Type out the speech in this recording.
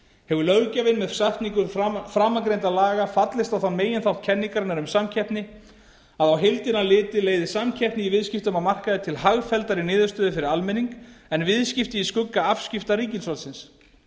hefur löggjafinn með setningu framangreindra laga fallist á þann meginþátt kenningarinnar um samkeppni að á heildina litið leiði samkeppni í viðskiptum á markaði til hagfelldari niðurstöðu fyrir almenning en viðskipti í skugga afskipta ríkisvaldsins